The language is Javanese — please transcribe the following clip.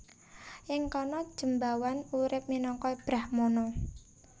Ing kana Jembawan urip minangka brahmana